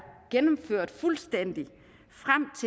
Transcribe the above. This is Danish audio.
gennemført fuldstændig